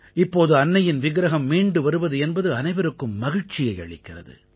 இப்போது அன்னையின் விக்ரஹம் மீண்டு வருவது என்பது அனைவருக்கும் மகிழ்ச்சியை அளிக்கிறது